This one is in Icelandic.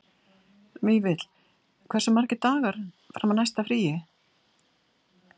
Vífill, hversu margir dagar fram að næsta fríi?